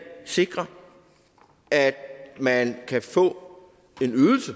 sikrer at man kan få